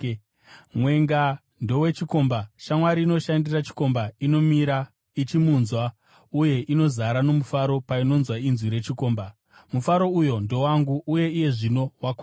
Mwenga ndowechikomba. Shamwari inoshandira chikomba inomira ichimunzwa uye inozara nomufaro painonzwa inzwi rechikomba. Mufaro uyo ndowangu, uye iye zvino wakwana.